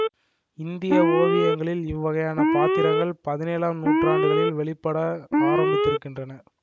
இந்திய ஓவியங்களில் இவ்வகையான பாத்திரங்கள் பதினேழம் நூற்றாண்டுகளில் வெளிப்பட ஆரம்பித்திருக்கின்றன